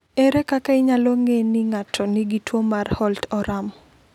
Ere kaka inyalo ng’e ni ng’ato nigi tuwo mar Holt Oram?